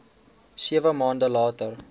sewe maande later